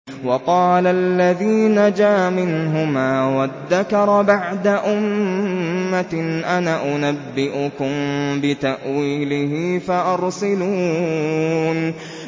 وَقَالَ الَّذِي نَجَا مِنْهُمَا وَادَّكَرَ بَعْدَ أُمَّةٍ أَنَا أُنَبِّئُكُم بِتَأْوِيلِهِ فَأَرْسِلُونِ